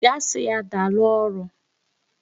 Gaa sị ya daalụ ọrụ!